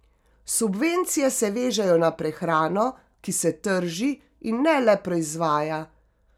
Subvencije se vežejo na prehrano, ki se trži, in ne le proizvaja.